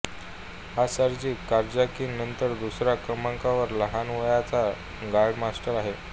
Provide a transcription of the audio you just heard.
हा Sergey Karjakin नंतर दुसऱ्या क्रमांकाचा लहान वयाचा ग्रॅंडमास्टर आहे